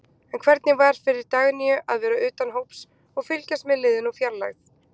En hvernig var fyrir Dagnýju að vera utan hóps og fylgjast með liðinu úr fjarlægð?